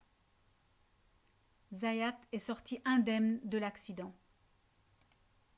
zayat est sorti indemne de l'accident